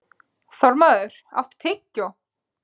Þormóður, áttu tyggjó?